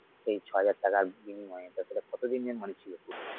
এই ছহাজার টাকার বিনিময়ে তাছাড়া কতদিনের tour টা?